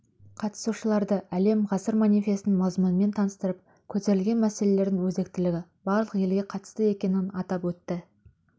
қатысушыларды әлем ғасыр манифесінің мазмұнымен таныстырып көтерілген мәселелердің өзектілігі барлық елге қатысты екенін атап өтті